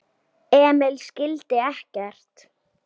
Emil skildi ekkert.